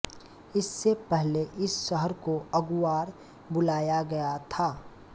इससे पहले इस शहर को अगुआर बुलाया गया था